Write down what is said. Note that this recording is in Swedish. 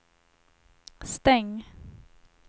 stäng